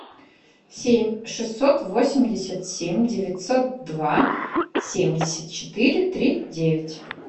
семь шестьсот восемьдесят семь девятьсот два семьдесят четыре три девять